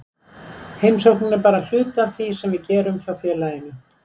Heimsóknin er bara hluti af því sem við gerum hjá félaginu.